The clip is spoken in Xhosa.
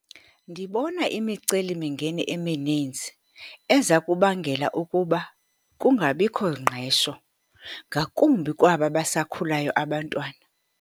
Ndibona imicelimingeni emininzi eza kubangela ukuba kungabikho ngqesho. Ngakumbi kwaba basakhulayo abantwana.